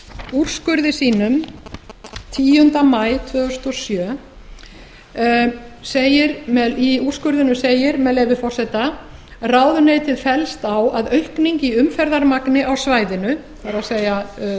úrskurði sínum tíunda maí tvö þúsund og sjö segir í úrskurðinum segir með leyfi forseta ráðuneytið fellst á að aukning á umferðarmagni á svæðinu það er